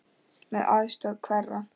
Með aðstoð hverra?